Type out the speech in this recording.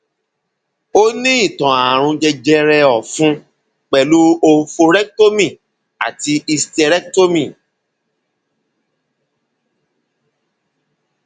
o ní ìtàn ààrùn jẹjẹrẹ ọfun pẹlú oophorectomy àti hysterectomy